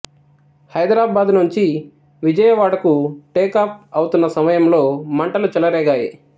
హైదరాబాద్ నుంచి విజయవాడకు టేకాఫ్ అవుతున్న సమయంలో మంటలు చెలరేగాయి